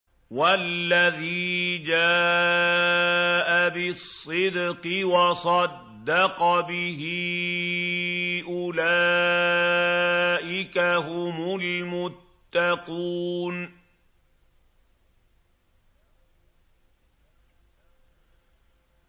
وَالَّذِي جَاءَ بِالصِّدْقِ وَصَدَّقَ بِهِ ۙ أُولَٰئِكَ هُمُ الْمُتَّقُونَ